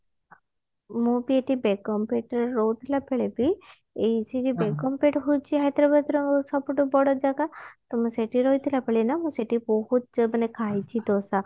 ମୁଁ ଏଠି ବେଗମପେଟ ରେ ରହୁଥିଲା ବେଳେ ବି ଏଇ ସେଇ ଯୋଉ ବେଗମପେଟ ହଉଛି ହାଇଦ୍ରାବାଦ ର ସବୁଠୁ ବଡ ଜାଗା ତ ମୁଁ ସେଠି ରହୁଥିଲା ବେଳେ ନା ମୁଁ ସେଠି ବହୁତ ଯେ ମାନେ ଖାଇଛି ଦୋସା